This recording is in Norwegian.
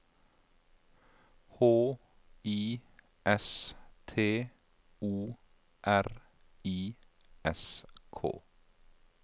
H I S T O R I S K